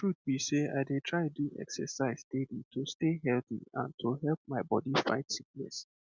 the truth be sey i dey try do exercise steady to stay healthy and to help my body fight sickness